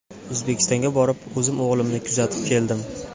O‘zbekistonga borib, o‘zim o‘g‘limni kuzatib keldim.